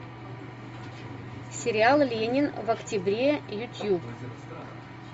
сериал ленин в октябре ютуб